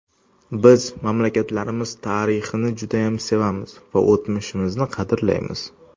Biz mamlakatlarimiz tarixini judayam sevamiz va o‘tmishimizni qadrlaymiz.